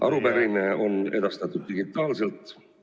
Arupärimine on edastatud digitaalselt.